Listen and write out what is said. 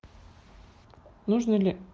нужно ли